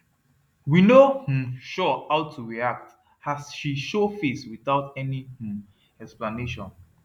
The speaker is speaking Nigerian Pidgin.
we no um sure how to react as she show face without any um explanation